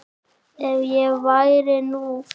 En ef ég væri nú.